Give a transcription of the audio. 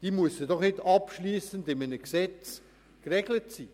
Das muss doch nicht abschliessend in einem Gesetz geregelt sein.